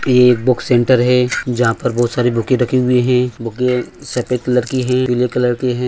यहाँ एक book centre है जहाँ पर बहुत सारी बुके रखे हुए है बुके सफेद कलर की है पीले कलर के है।